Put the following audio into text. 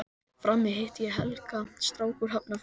Frammi hitti ég Helga, strák úr Hafnarfirði.